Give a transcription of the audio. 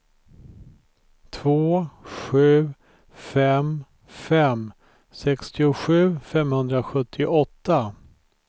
två sju fem fem sextiosju femhundrasjuttioåtta